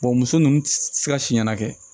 muso ninnu ti se ka si ɲɛna